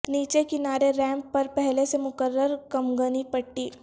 نیچے کنارے ریمپ پر پہلے سے مقرر کمگنی پٹی